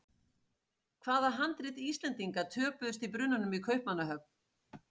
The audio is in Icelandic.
Hvaða handrit Íslendinga töpuðust í brunanum í Kaupmannahöfn?